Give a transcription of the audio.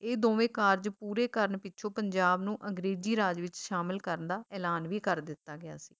ਇਹ ਦੋਵੇਂ ਕਾਰਜ ਪੂਰੇ ਕਰਨ ਪਿੱਛੋਂ ਪੰਜਾਬ ਨੂੰ ਅੰਗਰੇਜ਼ੀ ਰਾਜ ਵਿੱਚ ਸ਼ਾਮਲ ਕਰਨ ਦਾ ਐਲਾਨ ਵੀ ਕਰ ਦਿੱਤਾ ਗਿਆ ਸੀ